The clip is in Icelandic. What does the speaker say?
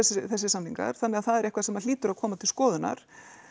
þessir samningar þannig það er eitthvað sem hlýtur að koma til skoðunnar